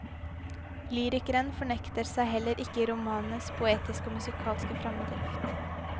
Lyrikeren fornekter seg heller ikke i romanens poetiske og musikalske fremdrift.